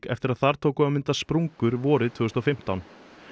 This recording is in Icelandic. eftir að þar tóku að myndast sprungur vorið tvö þúsund og fimmtán